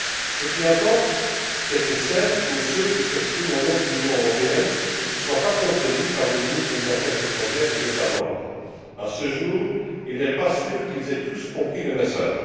Ce qui importe, c'est que celles ou ceux qui s'expriment au nom de l'Union européenne ne soient pas contredits par les ministres des affaires étrangères des États membres, dont il n'est pas sûr, à ce jour, qu'ils aient tous compris le message.